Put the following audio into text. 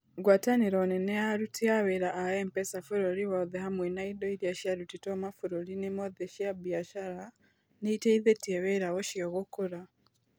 Ngwatanĩro nene ya aruti a wĩra a M-PESA bũrũri wothe hamwe na indo iria ciarutĩtwo mabũrũriinĩ mothe cia biacara, nĩ iteithĩtie wĩra ũcio gũkũra.